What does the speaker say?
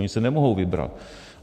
Oni si nemohou vybrat.